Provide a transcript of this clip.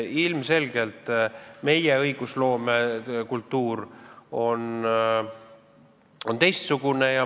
Ilmselgelt on meie õigusloomekultuur teistsugune.